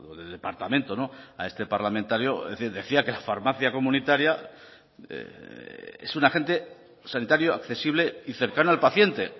del departamento a este parlamentario es decir decía que la farmacia comunitaria es un agente sanitario accesible y cercano al paciente